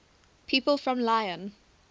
people from lyon